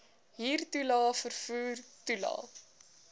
huurtoelae vervoer toelae